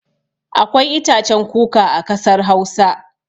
Akwai itacen kuka a kasar Hausa.